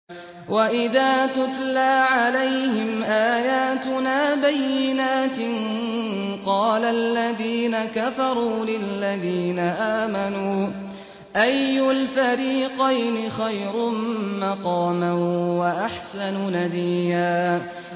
وَإِذَا تُتْلَىٰ عَلَيْهِمْ آيَاتُنَا بَيِّنَاتٍ قَالَ الَّذِينَ كَفَرُوا لِلَّذِينَ آمَنُوا أَيُّ الْفَرِيقَيْنِ خَيْرٌ مَّقَامًا وَأَحْسَنُ نَدِيًّا